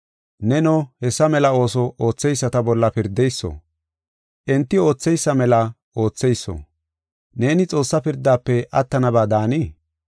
Neno, hessa mela ooso ootheyisata bolla pirdeyso, enti ootheysa mela ootheyso, neeni Xoossaa pirdaafe attanaba daanii?